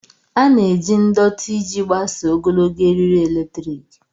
A na-eji ndọtị iji gbasaa ogologo eriri eletrik.